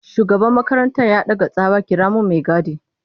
Shugaban makarantar ya daka tsawa 'kira min mai gadi!'